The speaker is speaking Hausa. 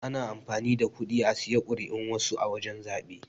Ana amfani da kuɗi a saye kuri'un wasu a wajan zabe.